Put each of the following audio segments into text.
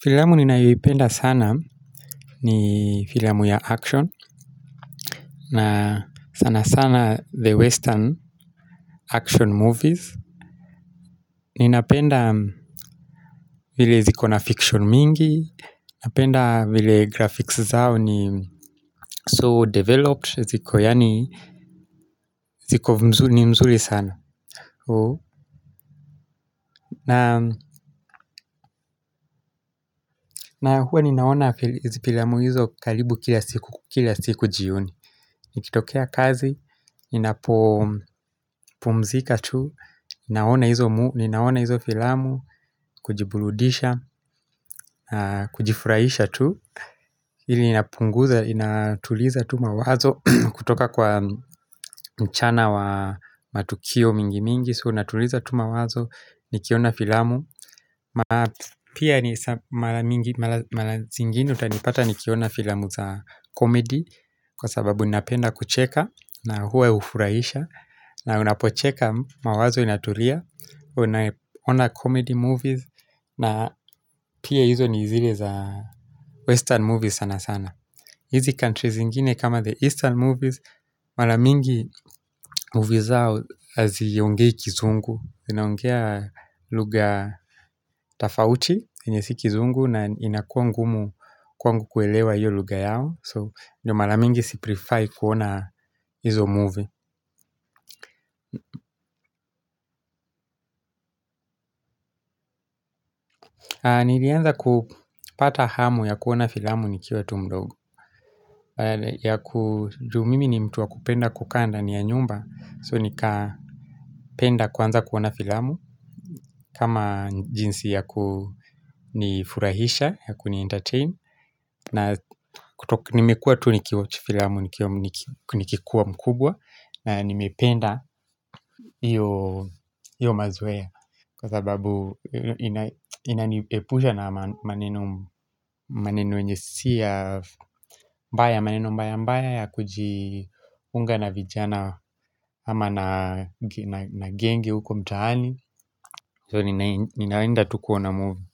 Filamu ninayoipenda sana ni filmu ya action na sana sana the western action movies Ninapenda vile ziko na fiction mingi Napenda vile graphics zao ni so developed ziko yani ziko mzuli ni mzuli sana na huwa ninaona filamu hizo karibu kila siku kila siku jioni Nikitokea kazi, ninapumzika tu, Ninaona hizo filamu, kujibuludisha, kujifurahisha tu ili inapunguza, inatuliza tu mawazo kutoka kwa mchana wa matukio mingi mingi So inatuliza tu mawazo, nikiona filamu Pia mara zingine utanipata nikiona filamu za comedy Kwa sababu ninapenda kucheka na huwa ya hufurahisha na unapocheka mawazo inatulia Una ona comedy movies na pia hizo ni zile za western movies sana sana hizi countries zingine kama the eastern movies Mara mingi movie zao haziongei kizungu Zinaongea lugha tafauti yenye si kizungu na inakuwa ngumu kwangu kuelewa iyo lugha yao So ndo mara mingi si prifai kuona hizo movie Nilianza kupata hamu ya kuoana filamu nikiwa tu mdogo ya ku juu mimi ni mtu wakupenda kukaa ndani ya nyumba So nikapenda kuanza kuona filamu kama jinsi ya kunifurahisha ya kuni entertain na kuto nimekuwa tu nikiwatch filamu nikiwa mkubwa na nimependa iyo mazoea Kwa sababu ina niepusha na maneno yenye si ya maneno mbaya mbaya ya kujiunga na vijana ama na genge huko mtaani So ninaenda tu kuona movie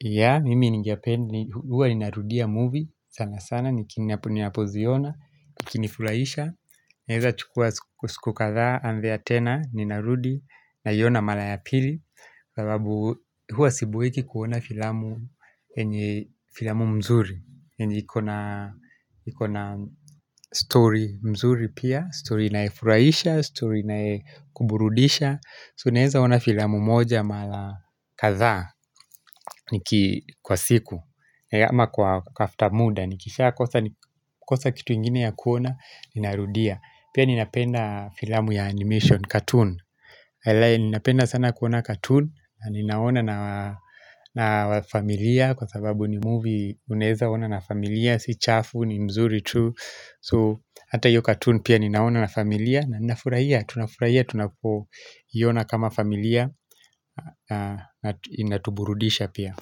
Yaani, mimi ningependa, huwa ninarudia movie sana sana, niki ninapoziona, ikinifurahisha Naeza chukua siku kadhaa, anzia tena, ninarudi, naiona mara ya pili Kwa sababu huwa siboeki kuona filamu yenye filamu mzuri yenye ikona ikona story mzuri pia, story inayefurahisha, story inayekuburudisha So naeza ona filamu moja marw kadhaa, niki kwa siku Ama kwa kufta muda, nikishakosa kosa kitu ingine ya kuona, ninarudia Pia ninapenda filamu ya animation, cartoon ninapenda sana kuona cartoon na ninaona na familia Kwa sababu ni movie unaeza ona na familia. Si chafu, ni mzuri tu So hata hiyo cartoon pia ninaona na familia na ninafurahia, tunafurahia, tunapoina kama familia na inatuburudisha pia.